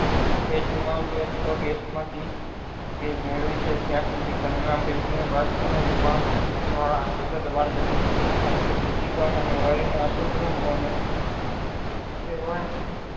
અથવા gas